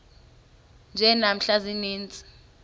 nje namhla ziintsizi